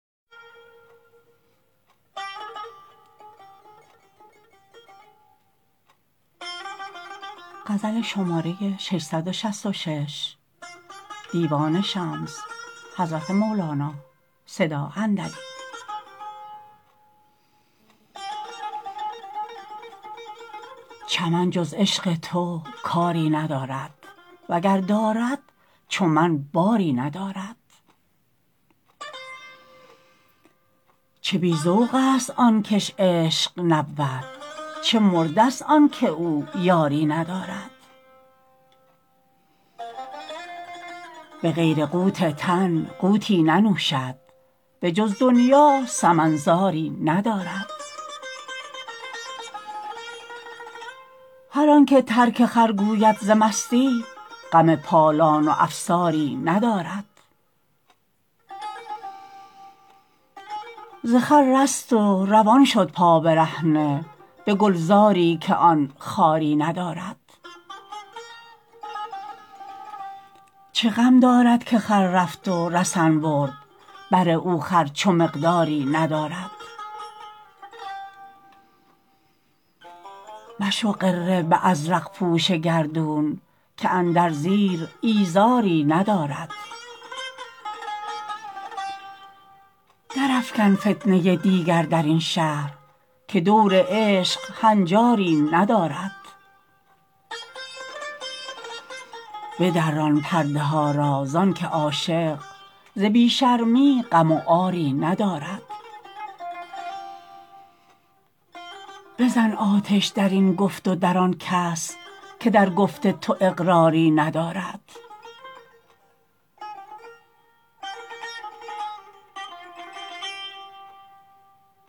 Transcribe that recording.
چمن جز عشق تو کاری ندارد وگر دارد چو من باری ندارد چه بی ذوقست آن کش عشق نبود چه مرده ست آن که او یاری ندارد به غیر قوت تن قوتی ننوشد بجز دنیا سمن زاری ندارد هر آنک ترک خر گوید ز مستی غم پالان و افساری ندارد ز خر رست و روان شد پابرهنه به گلزاری که آن خاری ندارد چه غم دارد که خر رفت و رسن برد بر او خر چو مقداری ندارد مشو غره به ازرق پوش گردون که اندر زیر ایزاری ندارد درافکن فتنه دیگر در این شهر که دور عشق هنجاری ندارد بدران پرده ها را زانک عاشق ز بی شرمی غم و عاری ندارد بزن آتش در این گفت و در آن کس که در گفت تو اقراری ندارد